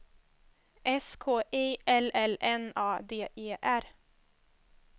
S K I L L N A D E R